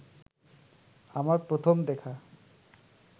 আমার প্রথম দেখা